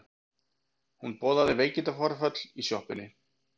Hún boðaði veikindaforföll í sjoppunni.